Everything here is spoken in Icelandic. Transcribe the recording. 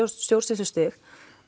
stjórnsýslustig